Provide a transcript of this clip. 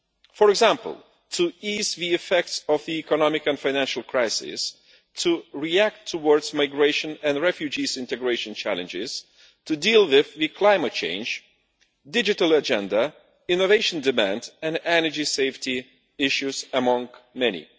For example, to ease the effects of the economic and financial crisis, to react to migration and refugees' integration challenges, to deal with climate change, the digital agenda, innovation demand and energy safety issues, amongst many.